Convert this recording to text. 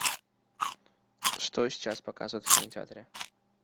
что сейчас показывают в кинотеатре